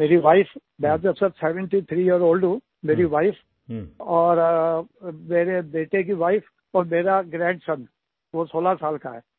मेरी वाइफ मैंने वैसे सेवेंटी थ्री यियर ओल्ड हूँ मेरी वाइफ और मेरे बेटे की वाइफ और मेरा ग्रैंडसन वो सोलह साल का है